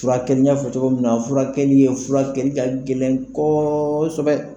Furakɛli n y'a fɔ cogo min na, furakɛli ye furakɛ ka gɛlɛn kosɛbɛ